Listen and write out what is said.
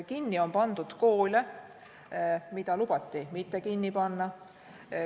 Kinni on pandud koole, mida lubati mitte kinni panna.